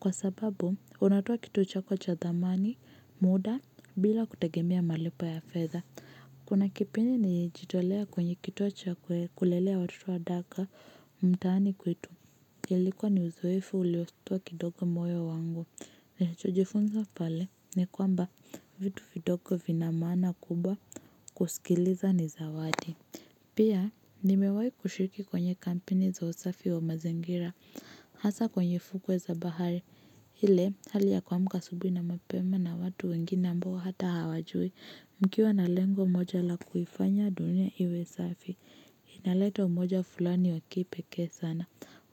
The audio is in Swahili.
Kwa sababu, unatoa kitu chako cha thamani, muda, bila kutegemea malipo ya fedha. Kuna kipindi nilijitolea kwenye kituo cha kulelea watoto wa daka mtaani kwetu ilikuwa ni uzoefu ulioshtua kidogo moyo wangu. Nishajifunza pale ni kwamba vitu vidogo vina maana kubwa kusikiliza ni zawadi. Pia nimewahi kushiriki kwenye kampeni za usafi wa mazingira. Hasa kwenye fukwe za bahari ile hali ya kuamka asubuhi na mapema na watu wengine ambao hata hawajui mkiwa na lengo moja la kuifanya dunia iwe safi, inaleta umoja fulani wa kipekee sana.